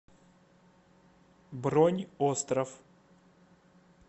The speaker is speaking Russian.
бронь остров